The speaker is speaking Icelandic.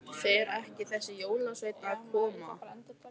Fer ekki þessi jólasveinn að koma?